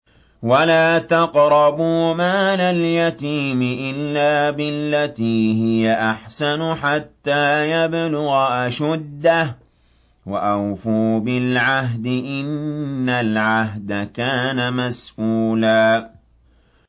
وَلَا تَقْرَبُوا مَالَ الْيَتِيمِ إِلَّا بِالَّتِي هِيَ أَحْسَنُ حَتَّىٰ يَبْلُغَ أَشُدَّهُ ۚ وَأَوْفُوا بِالْعَهْدِ ۖ إِنَّ الْعَهْدَ كَانَ مَسْئُولًا